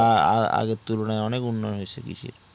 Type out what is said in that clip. আ আ আহ আগের তুলনায় অনেক উন্ন হয়েছে কৃষির